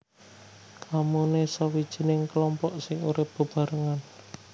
Komune sawijining klompok sing urip bebarengan